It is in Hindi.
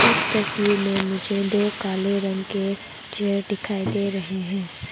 इस तस्वीर मे मुझे दो काले रंग के चेयर दिखाई दे रहे हैं।